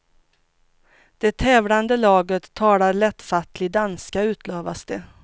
Det tävlande laget talar lättfattlig danska, utlovas det.